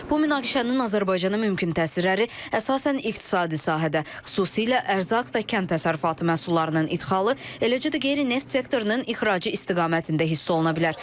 Bu münaqişənin Azərbaycana mümkün təsirləri əsasən iqtisadi sahədə, xüsusilə ərzaq və kənd təsərrüfatı məhsullarının idxalı, eləcə də qeyri-neft sektorunun ixracı istiqamətində hiss oluna bilər.